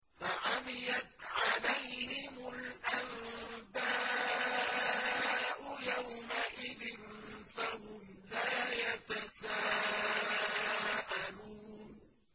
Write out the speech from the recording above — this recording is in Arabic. فَعَمِيَتْ عَلَيْهِمُ الْأَنبَاءُ يَوْمَئِذٍ فَهُمْ لَا يَتَسَاءَلُونَ